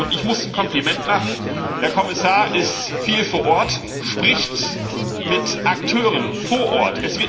Ich muss ein Kompliment machen Der Kommissar ist viel vor Ort, spricht mit Akteuren vor Ort.